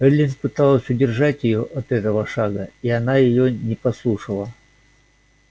эллин пыталась удержать её от этого шага а она её не послушала